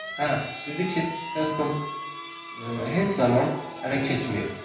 Hə, dedi ki, Heyston heç zaman hələ keçməyib.